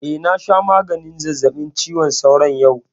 Eh, na sha maganin zazzaɓin cizon sauron yau